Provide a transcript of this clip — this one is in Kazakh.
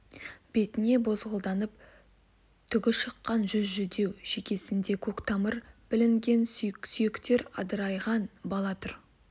бетне бозғылданып түгі шыққан жүз жүдеу шекеснде көк тамыры білінген сүйектер адырайған бала тұр